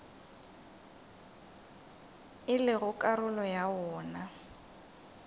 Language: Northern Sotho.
e lego karolo ya wona